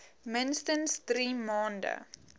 minstens drie maande